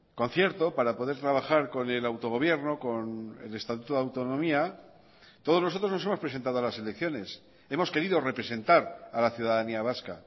concierto para poder trabajar con el autogobierno con el estatuto de autonomía todos nosotros nos hemos presentado a las elecciones hemos querido representar a la ciudadanía vasca